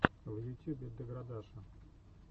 в ютюбе деградаша